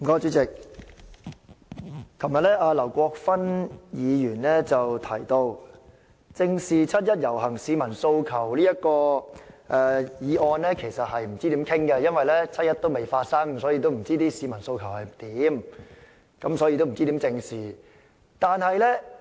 主席，劉國勳議員昨天說不知道該如何辯論"正視七一遊行市民的訴求"的議案，因為七一遊行尚未發生，不知道市民的訴求是甚麼，不知道該如何正視。